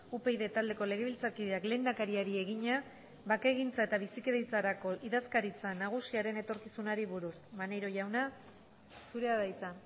upyd taldeko legebiltzarkideak lehendakariari egina bakegintza eta bizikidetzarako idazkaritza nagusiaren etorkizunari buruz maneiro jauna zurea da hitza